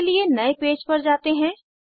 इसके लिए नए पेज पर जाते हैं